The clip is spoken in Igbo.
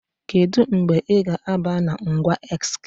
Kedu mgbe ị ga-aba na ngwa X?